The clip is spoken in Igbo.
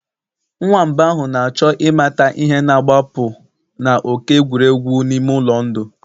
Nwamba ahụ na-achọ ịmata ihe na-agbapụ na òké egwuregwu n'ime ụlọ ndụ